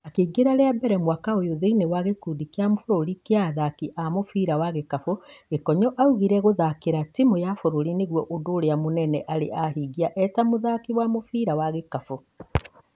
Akĩingĩra rĩa mbere mwaka ũyũ thĩinĩ wa gĩkundi kĩa bũrũri kĩa athaki a mũbira wa gĩkabũ, Gĩkonyo augire gũthakĩra timũ ya bũrũri nĩguo ũndũ ũrĩa mũnene arĩ ahingia eta mũthaki wa mũbira wa gĩkabũ.